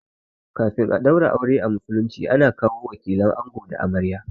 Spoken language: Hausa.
Kafin a ɗaura aure a musulunci ana kawo wakilan ango da amarya